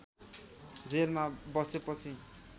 जेलमा बसेपछि